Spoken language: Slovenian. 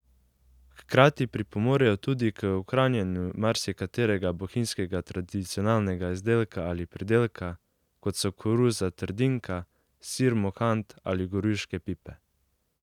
Hkrati pripomorejo tudi k ohranjanju marsikaterega bohinjskega tradicionalnega izdelka ali pridelka, kot so koruza trdinka, sir mohant ali gorjuške pipe.